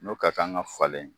N'o ka kan ka falen.